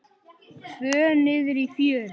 Tvö niðri í fjöru.